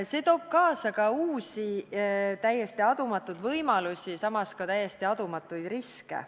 See toob kaasa uusi, täiesti adumatuid võimalusi, samas ka täiesti adumatuid riske.